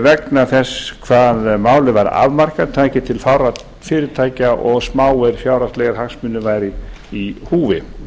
vegna þess hvað málið var afmarkað tæki til fárra fyrirtækja og smáir fjárhagslegir hagsmunir væru í húfi